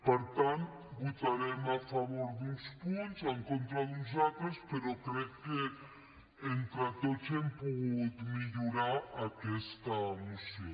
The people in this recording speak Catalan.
per tant votarem a favor d’uns punts en contra d’uns altres però crec que entre tots hem pogut millorar aquesta moció